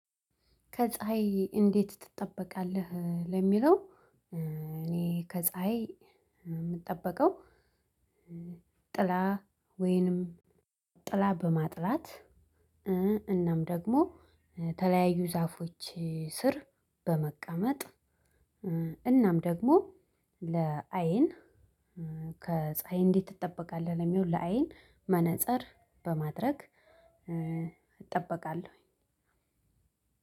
ከፀሀይ እንዴት ትጠበቃለህ? ለሚለው እኔ ከፀሀይ የምጠበቀው ጥላ ወይንም ጥላ በማጥላት። እናም ደግሞ ተለያዩ ዛፎች ስር በመቀመጥ። እናም ደግሞ ለአይን ከፀሀይ እንዴት ትጠበቃለህ? ለሚለው ለአይን መነፀር በማድረግ እጠበቃለሁ።